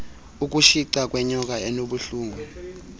ukutshica kwenyoka enobuhlungu